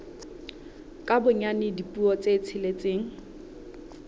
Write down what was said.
ka bonyane dipuo tse tsheletseng